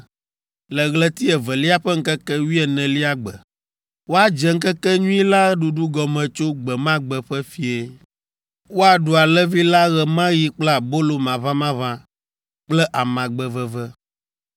le ɣleti evelia ƒe ŋkeke wuienelia gbe. Woadze ŋkekenyui la ɖuɖu gɔme tso gbe ma gbe ƒe fiẽ. Woaɖu alẽvi la ɣe ma ɣi kple abolo maʋamaʋã kple amagbe veve.